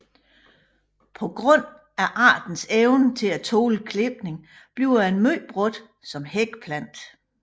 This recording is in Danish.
På grund af artens evne til at tåle klipning bliver den meget brugt som hækplante